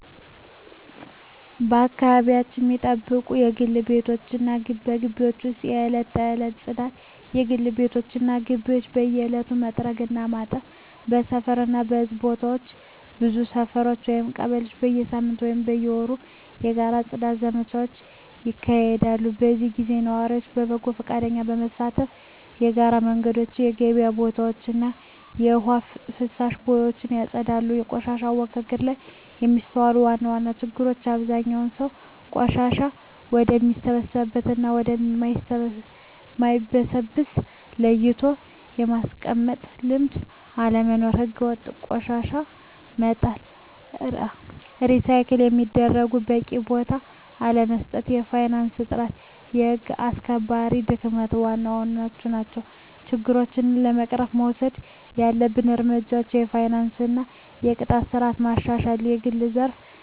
አካባቢያቸውን ሚጠብቁት በግል ቤቶች እና በግቢዎች ውስጥ የዕለት ተዕለት ጽዳት: የግል ቤቶች እና ግቢዎች በየዕለቱ መጥረግ እና ማጠብ። በሰፈር እና በሕዝብ ቦታዎች ብዙ ሰፈሮች (ቀበሌዎች) በየሳምንቱ ወይም በየወሩ የጋራ የጽዳት ዘመቻዎች ያካሂዳሉ። በዚህ ጊዜ ነዋሪዎች በጎ ፈቃደኝነት በመሳተፍ የጋራ መንገዶችን፣ የገበያ ቦታዎችን እና የውሃ ፍሳሽ ቦዮችን ያጸዳሉ። በቆሻሻ አወጋገድ ላይ የሚስተዋሉ ዋና ዋና ችግሮች አብዛኛው ሰው ቆሻሻን ወደሚበሰብስ እና ወደ ማይበሰብስ ለይቶ የማስቀመጥ ልምድ አለመኖር። ሕገወጥ ቆሻሻ መጣል፣ ሪሳይክል ለሚደረጉት በቂ ቦታ አለመስጠት፣ የፋይናንስ እጥረት፣ የህግ አስከባሪነት ድክመት ዋና ዋናዎቹ ናቸው። ችግሮችን ለመቅረፍ መወሰድ ያለባቸው እርምጃዎች የፋይናንስ እና የቅጣት ስርዓት ማሻሻል፣ የግል ዘርፍ ተሳትፎን ማበረታታት፣ …